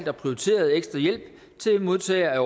at prioritere ekstra hjælp til modtagere af